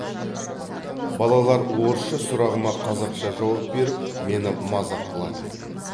балалар орысша сұрағыма қазақша жауап беріп мені мазақ қылатын